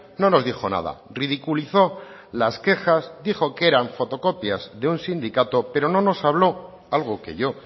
no nos dijo nada ridiculizó las quejas dijo que eran fotocopias de un sindicato pero no nos habló algo que yo